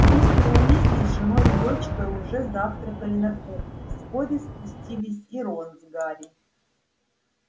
мистер уизли с женой и дочкой уже завтракали на кухне вскоре спустились и рон с гарри